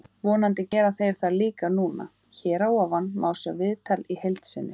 Vonandi gera þeir það líka núna. Hér að ofan má sjá viðtalið í heild sinni.